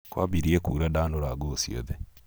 kwambirie kuura ndaanũra nguo ciothe.